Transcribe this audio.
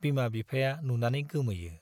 बिमा बिफाया नुनानै गोमोयो।